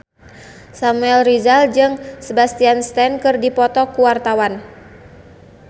Samuel Rizal jeung Sebastian Stan keur dipoto ku wartawan